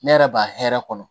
Ne yɛrɛ b'a hɛrɛ kɔnɔ